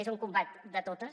és un combat de totes